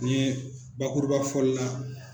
N'i ye bakurubafɔli la.